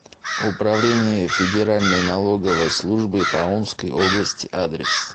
управление федеральной налоговой службы по омской области адрес